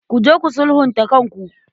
Ku je ku sulhunta kanku.